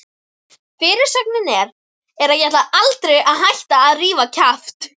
Fyrirsögnin er: Ég ætla aldrei að hætta að rífa kjaft!